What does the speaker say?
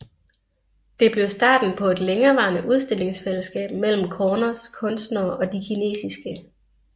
Det blev starten på et længerevarende udstillingsfællesskab mellem Corners kunstnere og de kinesiske